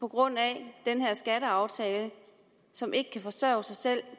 grund af den her skatteaftale og som ikke kan forsørge sig selv